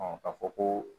ka fɔ ko